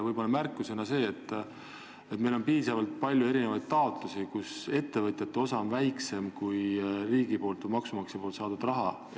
Võib-olla märkusena see, et meil on erinevate investeeringute puhul piisavalt palju taotlusi, kus ettevõtjate osa on väiksem kui riigilt või maksumaksjalt saadud raha.